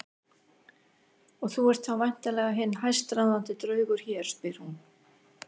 Og þú ert þá væntanlega hinn hæstráðandi draugur hér, spyr hún.